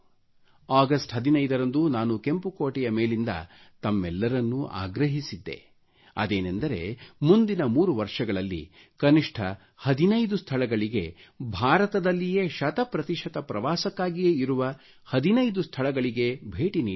ಅಗಷ್ಟ 15 ರಂದು ನಾನು ಕೆಂಪು ಕೋಟೆಯ ಮೇಲಿಂದ ತಮ್ಮೆಲ್ಲರನ್ನು ಆಗ್ರಹಿಸಿದ್ದೆ ಅದೇನೆಂದರೆ ಮುಂದಿನ 3 ವರ್ಷಗಳಲ್ಲಿ ಕನಿಷ್ಠ 15 ಸ್ಥಳಗಳಿಗೆ ಭಾರತದಲ್ಲಿಯೇ ಶತಪ್ರತಿಶತ ಪ್ರವಾಸಕ್ಕಾಗಿಯೇ ಇರುವ 15 ಸ್ಥಳಗಳಿಗೆ ಭೇಟಿ ನೀಡಿ